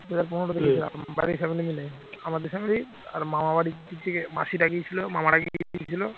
বাড়ির family মিলে আমাদের family আর মামা বাড়ির দিক থেকে মাসিরা গিয়েছিল মামারা গিয়েছিল